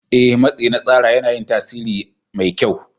Ee, matsi na tsara yana yin tasiri mai kyau.